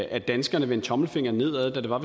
at danskerne vendte tommelfingeren nedad da